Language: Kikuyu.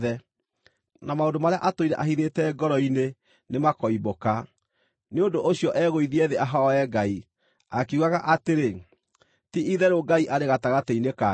na maũndũ marĩa atũire ahithĩte ngoro-inĩ nĩmakoimbũka. Nĩ ũndũ ũcio egũithie thĩ ahooe Ngai, akiugaga atĩrĩ, “Ti-itherũ Ngai arĩ gatagatĩ-inĩ kanyu!”